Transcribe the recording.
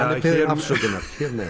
beðinn afsökunar hér með